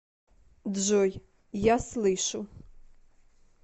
джой я слышу